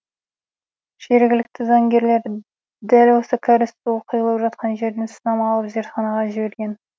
жергілікті заңгерлер дәл осы кәріз суы құйылып жатқан жерден сынама алып зертханаға жіберген